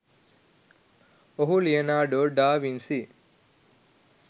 ඔහු Leonardo da Vinci